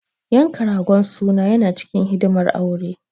Yanka ragon suna yana cikin hidimar aure.